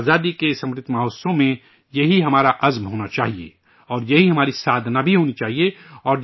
آزادی کے اس 'امرت مہوتسو' میں یہی ہمارا عزم ہونا چاہئے، اور یہی ہماری سادھنا بھی ہونا چاہئے